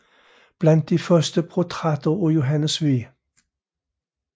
Blandt de første portrætter af Johannes V